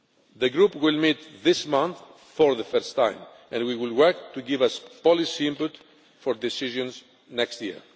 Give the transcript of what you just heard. The group will meet this month for the first time, and we will work to give us policy input for decisions next year.